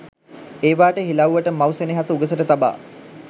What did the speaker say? ඒවාට හිලව්වට මව් සෙනෙහස උගසට තබා